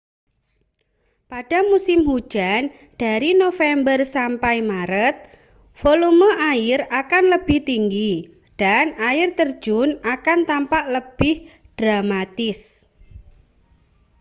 pada musim hujan dari november sampai maret volume air akan lebih tinggi dan air terjun akan tampak lebih dramatis